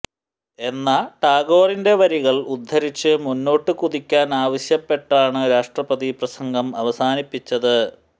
എന്ന ടാഗോറിെൻറ വരികൾ ഉദ്ധരിച്ച് മുന്നോട്ടു കുതിക്കാൻ ആവശ്യപ്പെട്ടാണ് രാഷ്ട്രപതി പ്രസംഗം അവസാനിപ്പിച്ചത്